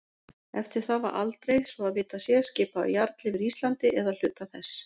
Eftir það var aldrei, svo að vitað sé, skipaður jarl yfir Íslandi eða hluta þess.